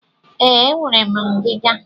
Ee, enwere m ngiga.